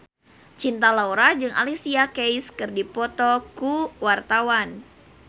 Cinta Laura jeung Alicia Keys keur dipoto ku wartawan